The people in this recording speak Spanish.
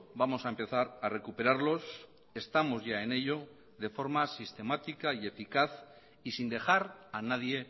vamos a empezar a recuperarlos estamos ya en ello de forma sistemática y eficaz y sin dejar a nadie